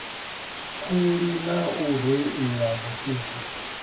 khuli na u reila vhusiku